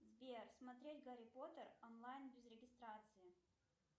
сбер смотреть гарри поттер онлайн без регистрации